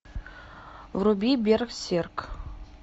вруби берсерк